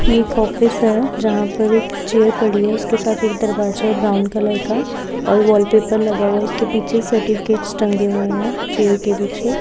ये एक ऑफिस है जहा पर एक चेयर पड़ी है उसके साथ एक दरवाज्या है ब्राउन कलर का और वॉलपेपर लगा हुआ है उसके पीछे सर्टिफिकेटस टंगे हुए है चेयर्स के पीछे --